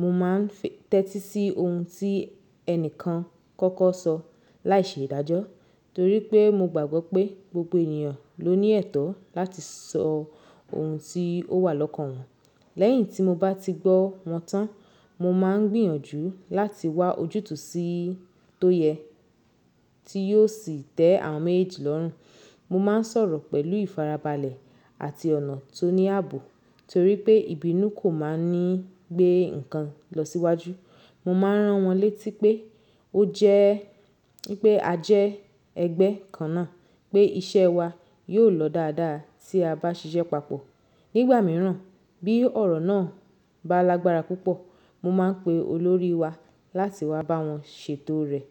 Mo máà ń tẹ́tí sí ohun tí ẹnìkan kọ́kọ́ sọ láìṣe ìdájọ́, torí pé mo gbàgbọ́ pé gbogbo ènìyàn ló ní ẹ̀tọ́ láti sọ ohun tí ó wà lọ́kàn wọn. Lẹ́yìn tí mo bá ti gbọ́ wọn tán, mo máà ń gbìyànjú láti wá ojútùú sí tó yẹ, tí yóò sì tẹ́ àwọn méjèèjì lọ́rùn. Mo máà ń sọ̀rọ̀ pẹ̀lú ìfarabalẹ̀ àti ọ̀nà tó ní àbò, torí pé ìbínú kò máà ń gbé ǹkan lọ síwájú. Mo máa rán wọ́n létí pé a jẹ́ ẹgbẹ́ kan náà, pé iṣẹ́ wa yóò lọ dáadáa tí a bá ṣiṣẹ́ papọ̀. Nígbà míràn, bí ọ̀rọ̀ náà bá lágbára púpọ̀, mo máà ń pe olórí wa láti wá bá wọn ṣètò rẹ̀.